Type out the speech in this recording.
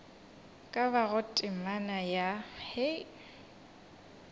ka bago temana ya hei